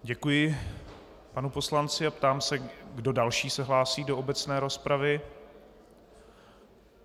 Děkuji panu poslanci a ptám se, kdo další se hlásí do obecné rozpravy.